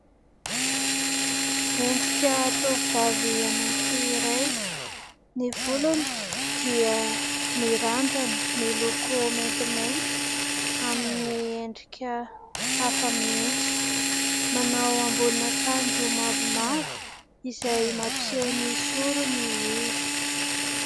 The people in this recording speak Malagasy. Endrika tovovavy anankiray. Ny volony dia mirandrana miloko maintimainty amin'ny endrika hafa mihitsy. Manao ambonin'akanjo mavomavo izay mampiseho ny sorony izy.